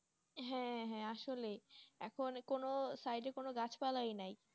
হ্যাঁ হ্যাঁ, আসলেই এখন side কোন গাছপালাই নেই,